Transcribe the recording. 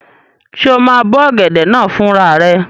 Ṣé o máa bó ọ̀gẹ̀dẹ̀ náà fún rara rẹ?